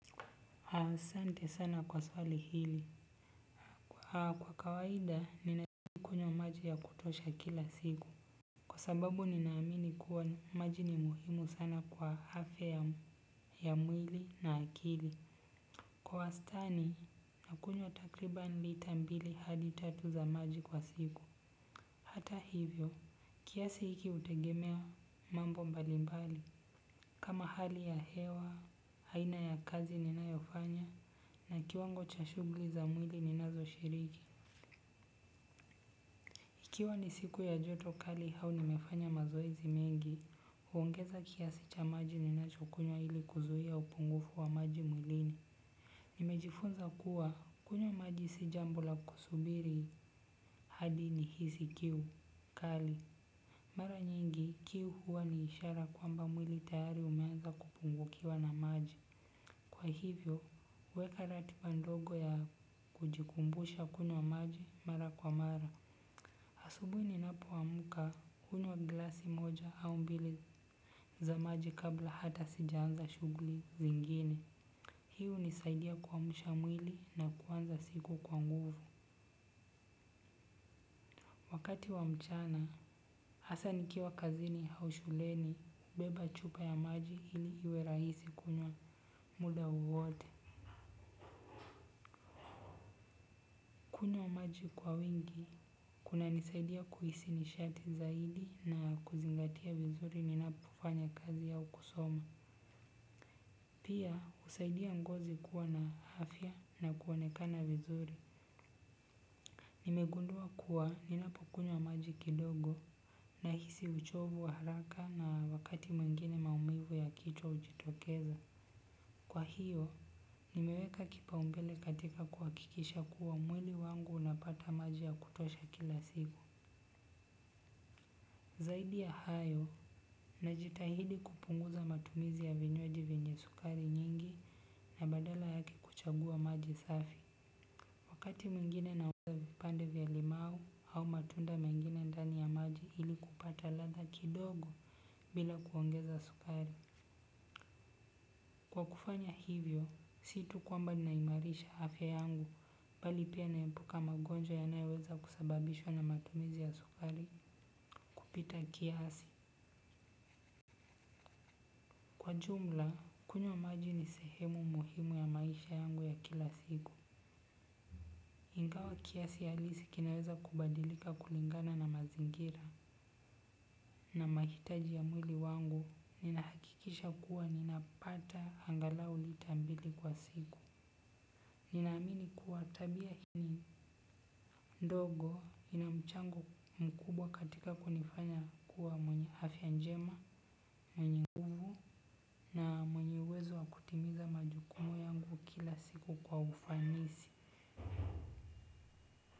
Asante sana kwa swali hili. Kwa kawaida ninakunywa maji ya kutosha kila siku. Kwa sababu ninaamini kuwa maji ni muhimu sana kwa afya ya mwili na akili. Kwa wastani, nakunywa takriban lita mbili au tatu za maji kwa siku. Hata hivyo kiasi hiki hutegemea mambo mbalimbali. Kama hali ya hewa, aina ya kazi ninayofanya na kiwango cha shughuli za mwili ninazoshiriki. Ikiwa ni siku ya joto kali, au nimefanya mazoezi mengi, huongeza kiasi cha maji ninachokunywa ili kuzuia upungufu wa maji mwilini. Nimejifunza kuwa kunywa maji si jambo la kusubiri hadi nihisi kiu kali. Mara nyingi kiu huwa ni ishara kwamba mwili tayari umeanza kupungukiwa na maji. Kwa hivyo, huweka ratiba ndogo ya kujikumbusha kunywa maji mara kwa mara. Asubuhi ninapoamka, hunywa glasi moja au mbili za maji, kabla hata sijaanza shughuli zingine. Hii hunisaidia kuamsha mwili na kuanza siku kwa nguvu. Wakati wa mchana, hasa nikiwa kazini au shuleni, nabeba chupa ya maji ili iwe rahisi kunywa muda wote. Kunywa maji kwa wingi, kunanisaidia kuhisi nishati zaidi na kuzingatia vizuri ninapofanya kazi au kusoma. Pia, husaidia ngozi kuwa na afya na kuonekana vizuri. Nimegundua kuwa ninapokunywa maji kidogo, nahisi uchovu wa haraka, na wakati mwingine maumivu ya kichwa hujitokeza. Kwa hiyo, nimeweka kipaumbele katika kuhakikisha kuwa mwili wangu unapata maji ya kutosha kila siku. Zaidi ya hayo, najitahidi kupunguza matumizi ya vinywaji vyenye sukari nyingi, na badala yake kuchagua maji safi. Wakati mwingine naweka vipande vya limau au matunda mengine ndani ya maji, ili kupata ladha kidogo bila kuongeza sukari. Kwa kufanya hivyo, si tu kwamba naimarisha afya yangu, bali pia naepuka magonjwa yanayoweza kusababishwa na matumizi ya sukari kupita kiasi. Kwa jumla, kunywa maji ni sehemu muhimu ya maisha yangu ya kila siku. Ingawa kiasi halisi kinaweza kubadilika kulingana na mazingira. Na mahitaji ya mwili wangu, ninahakikisha kuwa ninapata angalau lita mbili kwa siku. Ninaamini kuwa tabia hii ndogo ina mchango mkubwa katika kunifanya kuwa mwenye afya njema. Mwenye nguvu, na mwenye uwezo wa kutimiza majukumu yangu kila siku kwa ufanisi.